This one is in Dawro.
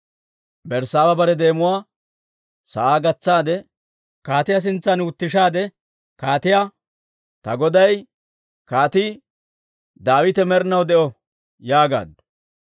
Berssaaba bare deemuwaa sa'aa gatsaade kaatiyaa sintsan wutushaade kaatiyaa, «Ta goday, Kaatii Daawite med'inaw de'o!» yaagaaddu.